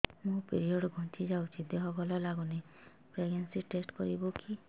ମୋ ପିରିଅଡ଼ ଘୁଞ୍ଚି ଯାଇଛି ଦେହ ଭଲ ଲାଗୁନି ପ୍ରେଗ୍ନନ୍ସି ଟେଷ୍ଟ କରିବୁ କି